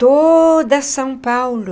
Toda São Paulo...